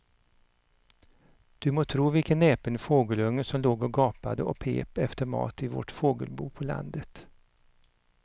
Du må tro vilken näpen fågelunge som låg och gapade och pep efter mat i vårt fågelbo på landet.